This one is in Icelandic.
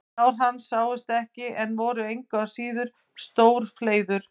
Sár hans sáust ekki en voru engu að síður sem stór fleiður.